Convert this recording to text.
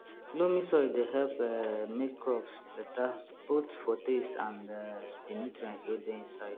loamy soil dey help um make crops beta both for taste and um di nutrients wey dey inside